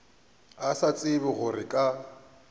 a sa tsebe gore ka